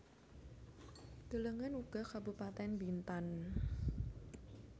Delengen uga Kabupatèn Bintan